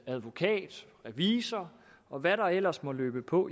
advokat revisor og hvad der ellers måtte løbe på